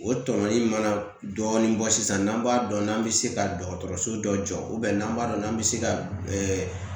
O tɔmɔnɔli in mana dɔɔni bɔ sisan n'an b'a dɔn n'an bɛ se ka dɔgɔtɔrɔso dɔ jɔ n'an b'a dɔn n'an bɛ se ka